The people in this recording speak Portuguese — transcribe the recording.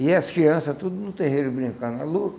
E as crianças tudo no terreiro brincando.